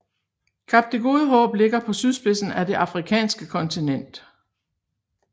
Kap det Gode Håb ligger på sydspidsen af det afrikanske kontinent